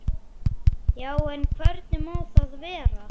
Já, en hvernig má það vera?